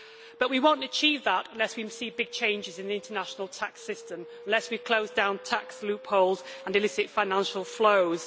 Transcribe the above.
but we will not achieve that unless we see big changes in the international tax system unless we close down tax loopholes and illicit financial flows.